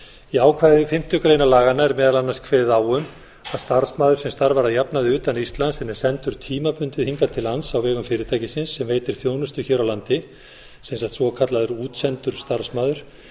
í ákvæði fimmtu grein laganna er meðal annars kveðið á um að starfsmaður sem starfar að jafnaði utan íslands en er sendur tímabundið hingað til lands á vegum fyrirtækis sem veitir þjónustu hér á landi sem sagt svokallaður útsendur starfsmaður